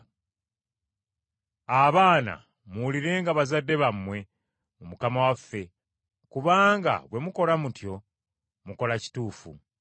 Abaana, muwulirenga bazadde bammwe mu Mukama waffe, kubanga bwe mukola mutyo, mukola kituufu.